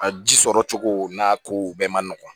A ji sɔrɔcogo n'a kow bɛɛ man nɔgɔn